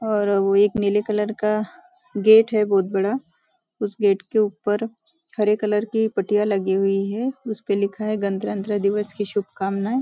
और वो एक नीले कलर का गेट है बहुत बड़ा उस गेट के ऊपर हरे कलर का पट्टियाँ लगी हुई हैं उसपे लिखा है गनतंत्र दिवस की शुभकामनाएं।